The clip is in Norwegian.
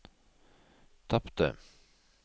tapte